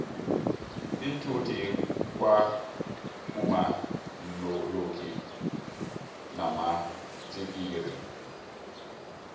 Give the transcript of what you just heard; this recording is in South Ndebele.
iinthuthi kwa kuma lonki namatsikixi